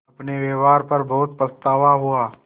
अपने व्यवहार पर बहुत पछतावा हुआ